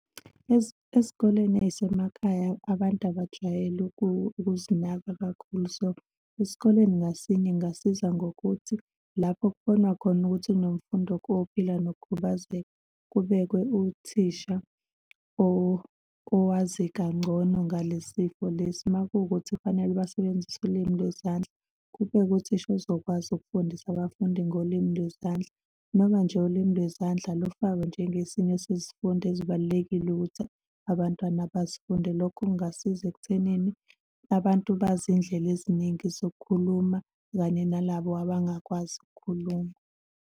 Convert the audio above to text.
Ezikoleni ey'semakhaya abantu abajwayele ukuzinaka kakhulu. So, esikoleni ngasinye kungasiza ngokuthi lapho kubonwa khona ukuthi kunemfundi ophila nokukhubazeka, kubekwe uthisha owazi kangcono ngale sifo lesi. Uma kuwukuthi kufanele basebenzise ulimi lwezandla kubekwe uthisha ozokwazi ukufundisa abafundi ngolimi lwezandla, noma nje ulimi lwezandla lufakwe njengesinye sezifundo ezibalulekile ukuthi abantwana basifunde. Lokho kungasiza ekuthenini abantu bazi iy'ndlela eziningi zokukhuluma kanye nalabo abangakwazi ukukhuluma.